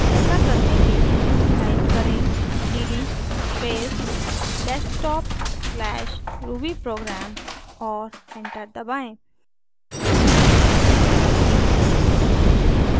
ऐसा करने के लिए टाइप करें cd space desktop/rubyprogram और एंटर दबाएँ